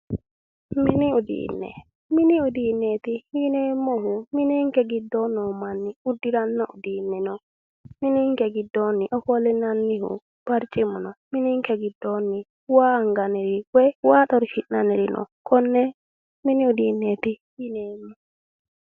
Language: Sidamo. Mini uduune mini uduunneeti yineemohuinike gidoo noo manni udiranno uduuneeti minike giddooni ofollineemo baricimino minike giddooni waa aniganniri woyi waa xorishi'nanniriini uduuneeti yineemo